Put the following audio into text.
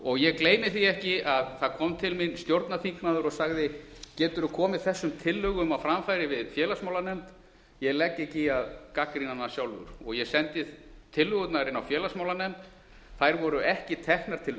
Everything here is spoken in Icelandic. og ég gleymi því ekki að það kom til mín stjórnarþingmaður og sagði geturðu komið þessum tillögum á framfæri við félagsmálanefnd ég legg ekki í að gagnrýna hana sjálfur ég sendi tillögurnar inn á félagsmálanefnd þær voru ekki teknar til